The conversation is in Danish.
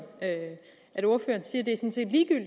at